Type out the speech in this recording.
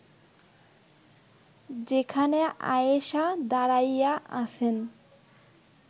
যেখানে আয়েষা দাঁড়াইয়া আছেন